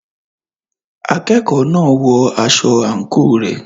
Akẹ́kọ̀ọ́ náà ń wọ aṣọ àǹkóò rẹ̀.